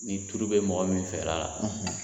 Ni turu bɛ mɔgɔ min fɛla la